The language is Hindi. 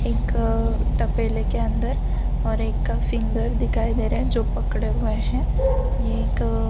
एकअ टपेले के अंदर और एक का फिंगर दिखाई दे रहा है जो पकड़े हुए है ये एकअ --